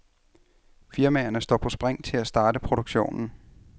Firmaerne står på spring til at starte produktionen.